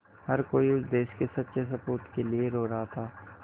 हर कोई उस देश के सच्चे सपूत के लिए रो रहा था